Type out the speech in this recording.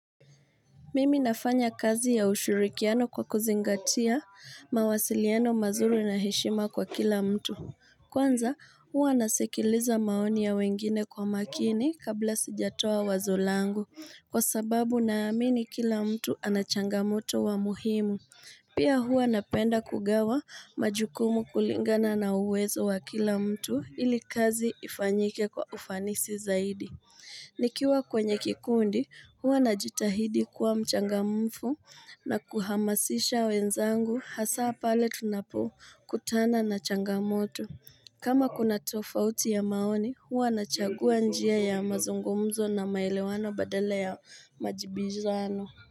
Mimi nafanya kazi ya ushirikiano kwa kuzingatia mawasiliano mazuri na heshima kwa kila mtu. Kwanza huwa nasikiliza maoni ya wengine kwa makini kabla sijatoa wazo langu kwa sababu naamini kila mtu ana changamoto wa muhimu. Pia huwa napenda kugawa majukumu kulingana na uwezo wa kila mtu ili kazi ifanyike kwa ufanisi zaidi. Nikiwa kwenye kikundi huwa najitahidi kuwa mchangamfu na kuhamasisha wenzangu hasaa pale tunapokutana na changamoto. Kama kuna tofauti ya maoni huwa nachagua njia ya mazungumzo na maelewano badala ya majibizano.